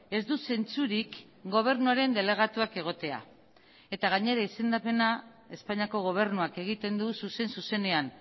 ez du zentzurik gobernuaren delegatuak egotea eta gainera izendapena espainiako gobernuak egiten du zuzen zuzenean